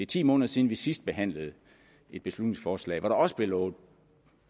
ti måneder siden vi sidst behandlede et beslutningsforslag hvor der også blev lovet